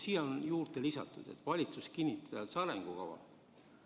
Siin on öeldud, et valitsus kinnitas arengukava.